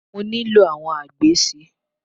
Mo nílò àwọn agbè si.